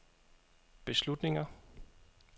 beslutninger